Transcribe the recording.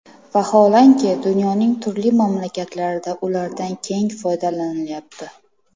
Vaholanki, dunyoning turli mamlakatlarida ulardan keng foydalanilayapti.